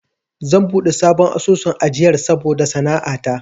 Zan buɗe sabon asusun ajiyar saboda sana'a ta.